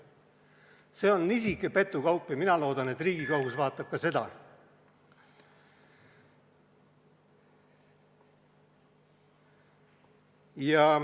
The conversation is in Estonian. See on nisuke petukaup ja mina loodan, et Riigikohus vaatab ka seda.